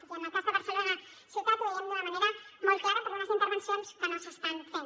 i en el cas de barcelona ciutat ho veiem d’una manera molt clara per unes intervencions que no s’estan fent